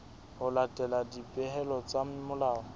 ho latela dipehelo tsa molao